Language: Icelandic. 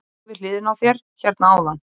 Hún stóð við hliðina á þér hérna áðan.